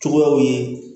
Cogoyaw ye